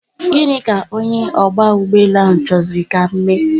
Gini ka onye ogba ugboelu ahu choziri ka m mee?